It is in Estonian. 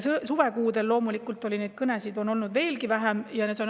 Suvekuudel on loomulikult neid kõnesid olnud veelgi vähem.